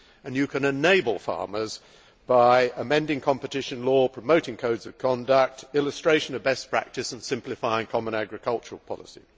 and you can enable farmers by amending competition law, promoting codes of conduct, illustrating best practice and simplifying the common agricultural policy.